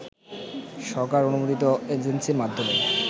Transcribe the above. সরকার অনুমোদিত এজেন্সির মাধ্যমে